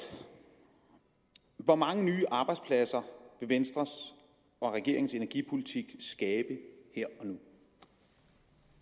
hvor mange nye arbejdspladser vil venstres og regeringens energipolitik skabe her